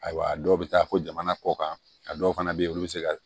Ayiwa dɔw bɛ taa fo jamana kɔ kan a dɔw fana bɛ yen olu bɛ se ka